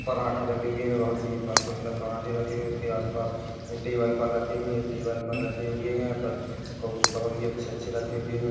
पराठे रखे हुवे है बोहोत ही पण सुंदर पराठे रखे हुवे है उस के आसपास एक टेबल पर रखे हुवे है एक टेबल पर रखे हुवे है पर बोहोत ही अच्छे-अच्छे रखे हुवे है।